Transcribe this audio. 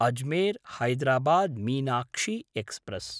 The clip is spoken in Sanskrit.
अजमेर्–हैदराबाद् मीनाक्षी एक्स्प्रेस्